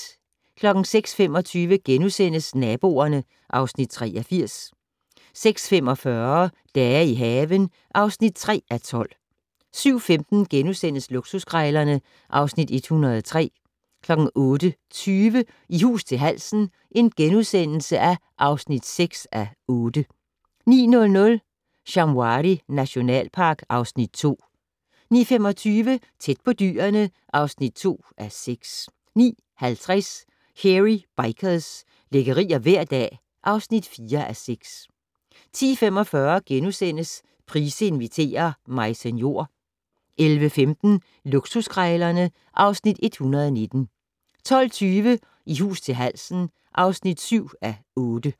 06:25: Naboerne (Afs. 83)* 06:45: Dage i haven (3:12) 07:15: Luksuskrejlerne (Afs. 103)* 08:20: I hus til halsen (6:8)* 09:00: Shamwari nationalpark (Afs. 2) 09:25: Tæt på dyrene (2:6) 09:50: Hairy Bikers - lækkerier hver dag (4:6) 10:45: Price inviterer - Maise Njor * 11:15: Luksuskrejlerne (Afs. 119) 12:20: I hus til halsen (7:8)